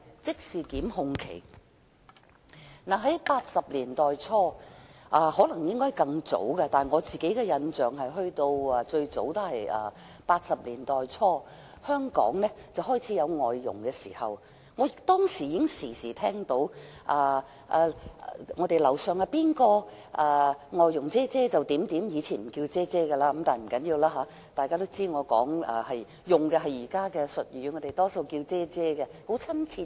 在1980年代初——或許更早，但我的印象最早是在1980年代初——香港開始有外傭，當時我時常聽到樓上的鄰居說其"外傭姐姐"怎樣——以前不是稱為"姐姐"，但不要緊，大家都知道我用的是現代的字眼，我們多數稱外傭為"姐姐"，很親切。